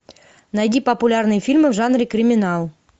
найди популярные фильмы в жанре криминал